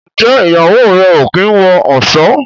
Njé Ìyàwó rẹ o kín wọ ọṣọ?